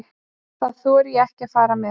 Það þori ég ekki að fara með.